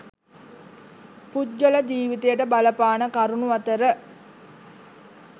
පුද්ගල ජීවිතයට බලපාන කරුණු අතර